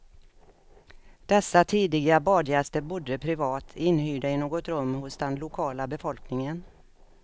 Dessa tidiga badgäster bodde privat, inhyrda i något rum hos den lokala befolkningen.